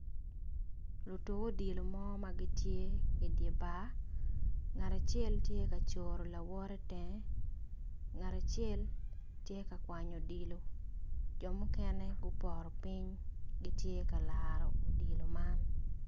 Lutuk odilo mo ma gitye i bar ngat acel tye kacoro lawote tenge ngat acel tye ka kwanyo odilo jo mukene gupoto piny ki tye ka laro odilo man